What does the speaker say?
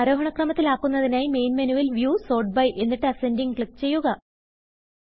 ആരോഹണ ക്രമത്തിൽ ആക്കുന്നതിനായി മെയിൻ മെനുവിൽ വ്യൂ സോർട്ട് byഎന്നിട്ട് Ascendingക്ലിക്ക് ചെയ്യുക